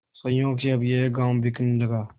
संयोग से अब यह गॉँव बिकने लगा